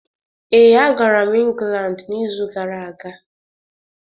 Ee, agara m Ingland n’izu gara aga.